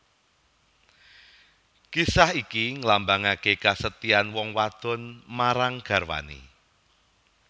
Kisah iki nglambangaké kesetian wong wadon marang garwané